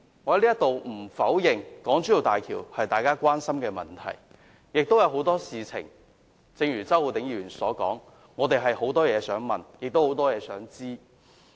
我不否認港珠澳大橋是大家關心的議題，正如周浩鼎議員所說，我們亦有很多問題想提出，有很多事情想知道。